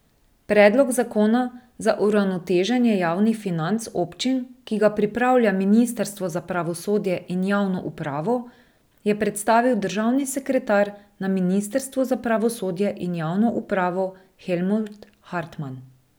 Predlog zakona za uravnoteženje javnih financ občin, ki ga pripravlja ministrstvo za pravosodje in javno upravo, je predstavil državni sekretar na ministrstvu za pravosodje in javno upravo Helmut Hartman.